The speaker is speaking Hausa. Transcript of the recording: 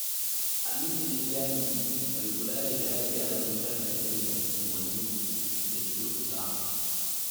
Aminu ne jam'i mai kula da gyare-gyaren wutar lantarkin unguwanni 3 da suke kusa.